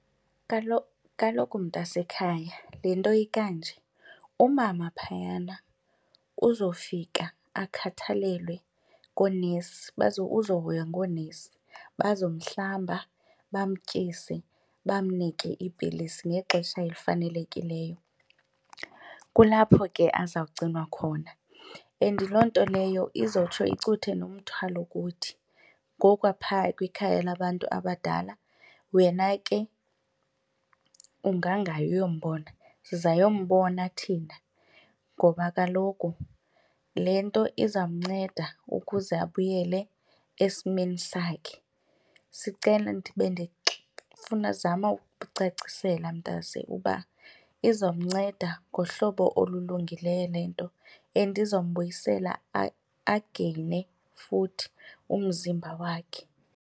Kaloku mntasekhaya le nto ikanje, umama phayana uzofika akhathalelwe ngoonesi, uzohoywa ngoonesi. Bazomhlamba bamtyise bamnike futhi iipilisi ngexesha elifanelekileyo, kulapho ke azawugcinwa khona and loo nto leyo izotsho icuthe nomthwalo kuthi. Ngoku aphaa kwikhaya labantu abadala wena ke ungangayi uyombona, sizayombona thina ngoba kaloku le nto izamnceda ukuze abuyele esimeni sakhe. Sicela ndifuna azama ukucacisela mntase uba izomnceda ngohlobo olulungileyo le nto and izombuyisela ageyine futhi umzimba wakhe.